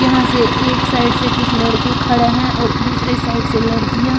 यहां से एक साइड से कुछ लड़के खड़े हैं और दूसरे साइड से लड़कियां--